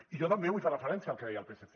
i jo també vull fer referència al que deia el psc